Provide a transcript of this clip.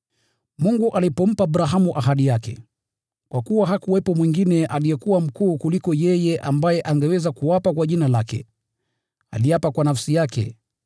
Mungu alipompa Abrahamu ahadi yake, kwa kuwa hakuwepo mwingine aliyekuwa mkuu kuliko yeye ambaye angeweza kuapa kwa jina lake, aliapa kwa nafsi yake,